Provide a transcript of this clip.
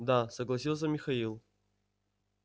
да согласился михаил